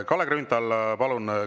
Kalle Grünthal, palun!